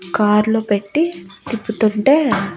Car లో పెట్టి తిప్పుతుంటే.